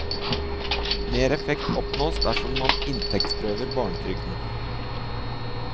Mer effekt oppnås dersom man inntektsprøver barnetrygden.